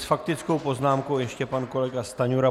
S faktickou poznámkou ještě pan kolega Stanjura.